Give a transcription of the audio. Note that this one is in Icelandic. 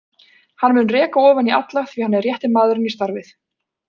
Hann mun reka ofan í alla því hann er rétti maðurinn í starfið.